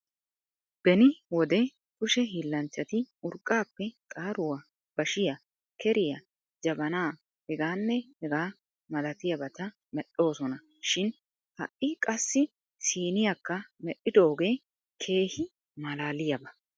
Beni wode kushe hiillanchchati urqqaappe xaaruwa, bashiya, keriya, jabanaa, hegaanne hegaa malatiyabata medhdhoosona shin ha'i qassi siiniyakka medhdhidoogee keehi malaaliyaaba.